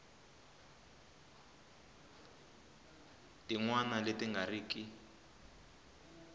tin wana leti nga riki